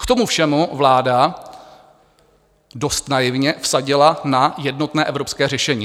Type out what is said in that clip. K tomu všemu vláda dost naivně vsadila na jednotné evropské řešení.